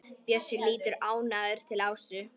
Bjössi lítur ánægður til Ásu.